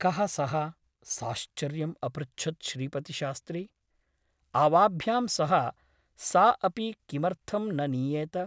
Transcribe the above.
कः सः ?' साश्चर्यम् अपृच्छत् श्रीपतिशास्त्री । आवाभ्यां सह सा अपि किमर्थं न नीयेत ?